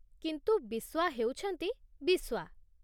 କିନ୍ତୁ ବିସ୍ୱା ହେଉଛନ୍ତି ବିସ୍ୱା।